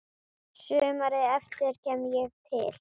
Sumarið eftir kem ég til